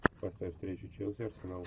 поставь встречу челси арсенал